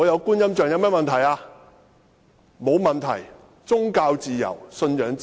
沒有問題，這是宗教自由、信仰自由。